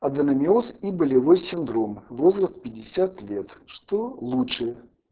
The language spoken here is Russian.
аденомиоз и болевой синдром возраст пятьдесят лет что лучше